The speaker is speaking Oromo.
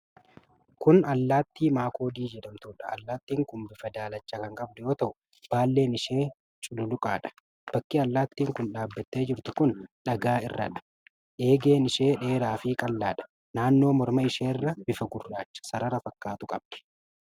Kun allaattii makoodii jedhamtuudha. Allaatti kun bifa daalacha kan qabdu yoo ta'u, baalleen ishee cululuqaadha. Bakki allaattiin kun dhabattee jirtu kun dhagaa irradha. Eegeen ishee dheeraa fi qal'aadha. Naannoo morma isheerra bifa gurraacha sarara fakkaatu qabdi.